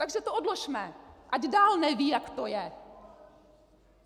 Takže to odložme, ať dál nevědí, jak to je!